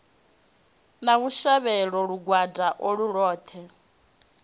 na vhushavhelo lugwada ulwo lwoṱhe